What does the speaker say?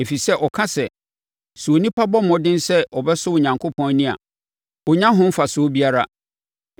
Ɛfiri sɛ ɔka sɛ, ‘Sɛ onipa bɔ mmɔden sɛ ɔbɛsɔ Onyankopɔn ani a ɔnnya ho mfasoɔ biara.’